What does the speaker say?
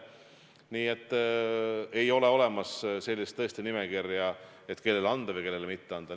Nii et ei ole olemas sellist nimekirja, et kellele anda või kellele mitte anda.